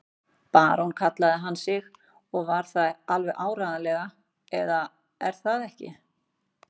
Barón kallaði hann sig og var það alveg áreiðanlega, eða er það ekki?